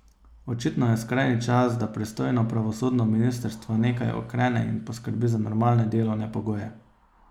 Očitno je skrajni čas, da pristojno pravosodno ministrstvo nekaj ukrene in poskrbi za normalne delovne pogoje.